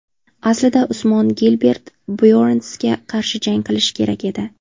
Aslida Usmon Gilbert Byornsga qarshi jang qilishi kerak edi.